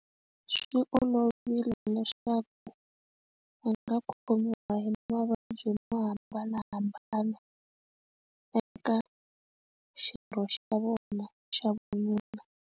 Swi olovile leswaku a nga khomiwa hi mavabyi mo hambanahambana eka xirho xa vona xa vununa.